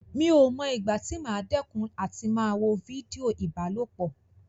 Mi ò mọ ìgbà tí màá dẹ́kun àti máa wo fídíò ìbálòpọ̀.